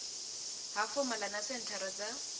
ha fomala na senthara dza